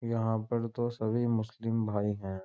यहाँ पर तो सभी मुस्लिम भाई हैं।